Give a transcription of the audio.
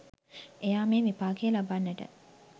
එයා මේ විපාකය ලබන්නට